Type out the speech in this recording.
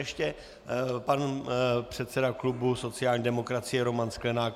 Ještě pan předseda klubu sociální demokracie Roman Sklenák.